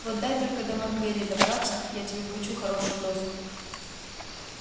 вот дай только до мак гэрри добраться я тебе вкачу хорошую дозу